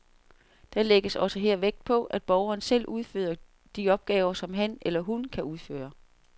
Der lægges også her vægt på, at borgeren selv udfører de opgaver, som han eller hun kan udføre.